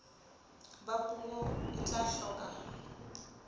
ba puo e tla hloka